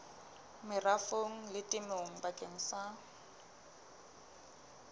merafong le temong bakeng sa